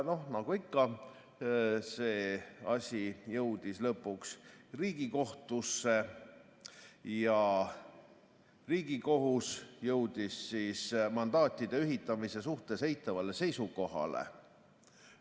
Nagu ikka, see asi jõudis lõpuks Riigikohtusse ja Riigikohus jõudis mandaatide ühitamise suhtes eitavale seisukohale.